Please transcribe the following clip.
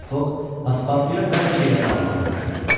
Mister Foqq Paspartuya bəzi şeyləri almağı tapşırdı.